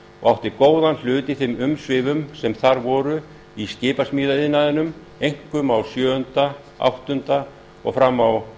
og átti góðan hlut í þeim umsvifum sem þar voru í skipasmíðaiðnaði einkum á sjöunda áttunda og fram á